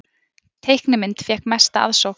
Teiknimynd fékk mesta aðsókn